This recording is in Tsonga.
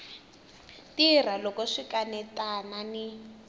tirha loko swi kanetana ni